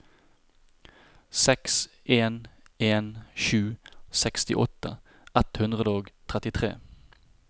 seks en en sju sekstiåtte ett hundre og trettitre